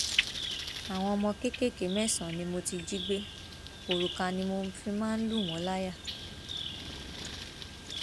àwọn ọmọ kéékèèké mẹsànán ni mo ti jí gbé òrùka ni mo fi ń máa ń lù wọn láyà